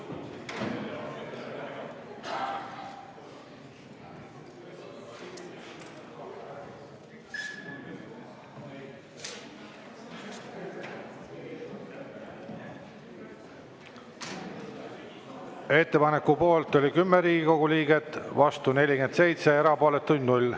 Ettepaneku poolt oli 10 Riigikogu liiget, vastu 47, erapooletuid 0.